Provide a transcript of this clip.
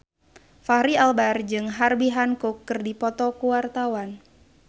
Fachri Albar jeung Herbie Hancock keur dipoto ku wartawan